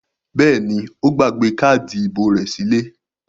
Bẹ́ẹ̀ ni, ó gbàgbé káádì ìbò rẹ̀ sílé.